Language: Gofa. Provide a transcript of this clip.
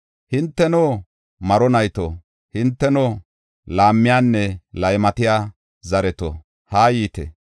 “Hinteno, maro nayto, hinteno laammiyanne laymatiya zareto, haa yiite.